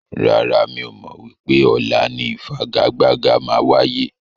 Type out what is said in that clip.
Rárá, mi ò mọ wípé ọ̀la ni ifigagbaga máa wáyé.